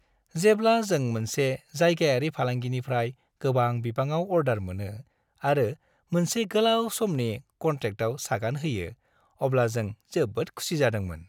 जेब्ला जों मोनसे जायगायारि फालांगिनिफ्राय गोबां बिबाङाव अर्डार मोनो आरो मोनसे गोलाव समनि कन्ट्रेक्टआव सागान होयो, अब्ला जों जोबोद खुसि जादोंमोन।